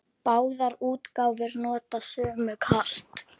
Báðar útgáfur nota sömu kort.